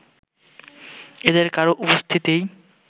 এদের কারও উপস্থিতিই